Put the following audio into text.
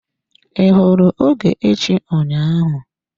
I hụrụ Ogechi ụnyaahụ?